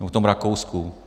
Nebo v tom Rakousku?